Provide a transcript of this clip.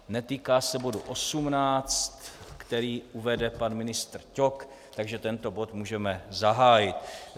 Netýká se bodu 18, který uvede pan ministr Ťok, takže tento bod můžeme zahájit.